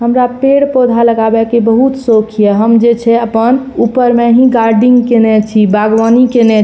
हमरे पेड़-पौधा लगावे के बहुत सोख ये हम जे छै अपन ऊपर मे ही गार्डिंग केएना छी बागवानी केएना छी।